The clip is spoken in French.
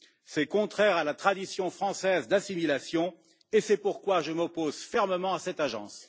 C'est contraire à la tradition française d'assimilation et c'est pourquoi je m'oppose fermement à cette Agence.